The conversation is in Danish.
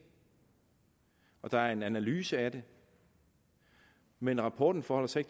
og der er en analyse af dem men rapporten forholder sig